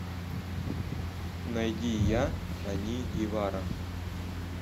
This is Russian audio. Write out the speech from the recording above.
найди я они и вара